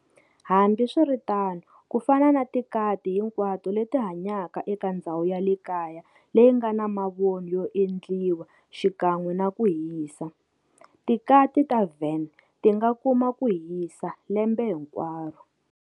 Hambiswiritano, kufana na tikati hinkwato leti hanyaka eka ndzhawu yale kaya leyingana mavoni yo endliwa xikan'we naku hisa, tikati ta Van tinga kuma kuhisa lembe hinkwaro.